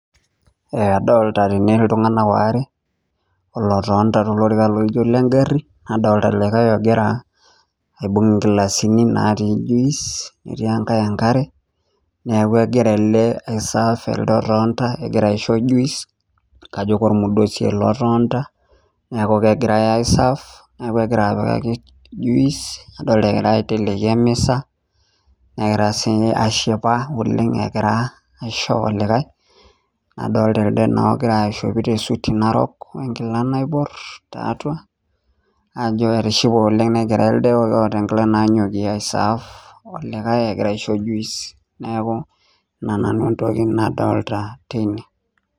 Adolita tene iltung'anak aare, olotonita tolorika laijo olengarri, nadolita ele likae ogira aibung' inkilasini naatii juice netii enkae enkare. Neeku egira ele ai serve elde otonita. Egira aisho juice kajo kormudosi ele otonita, neeku kegirai ai serve kegira apikaki juice. Adolita egira aiteleki emisa negira sii ashipa oleng egira aisho olikae. Nadolita elde naa oishopito esuti narok wenkila naiborr tiatwa etishipe oleng negira elde oota nkilani naanyokie ai serve olikae egira aisho juice neeku, neeku ina nanu entoki nadolita tene